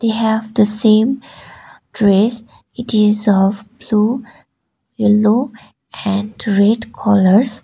they have the same dress it is of blue yellow and red colours.